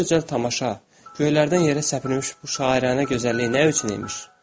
Bu gözəl tamaşa, göylərdən yerə səpəlmiş bu şairanə gözəllik nə üçün imiş?